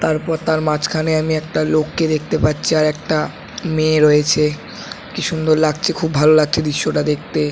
তারপর তার মাঝখানে আমি একটা লোককে দেখতে পাচ্ছি আর একটা মেয়ে রয়েছে কি সুন্দর লাগছে খুব ভালো লাগছে দৃশ্যটা দেখতে।